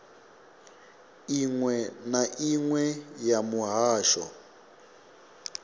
inwe na inwe ya muhasho